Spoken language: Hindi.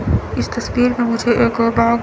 इस तस्वीर में मुझे एक बैग --